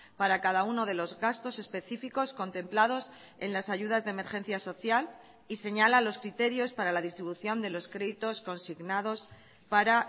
para cada uno de los gastos específicos contemplados en las ayudas de emergencia social y señala los criterios para la distribución de los créditos consignados para